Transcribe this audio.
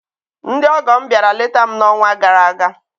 Ndị ọgọ m bịara leta m n'ọnwa gara aga.